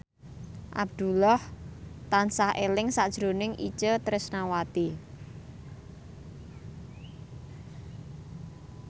Abdullah tansah eling sakjroning Itje Tresnawati